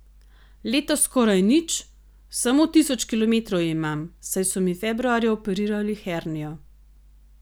Letos skoraj nič, samo tisoč kilometrov imam, saj so mi februarja operirali hernijo.